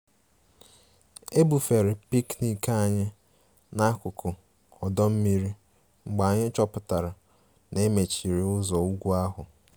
E bufere picnic anyị n'akụkụ ọdọ mmiri mgbe anyị chọpụtara na e mechiri ụzọ ugwu ahụ